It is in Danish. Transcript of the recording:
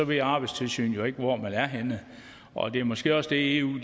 ved arbejdstilsynet jo ikke hvor man er henne og det er måske også det eu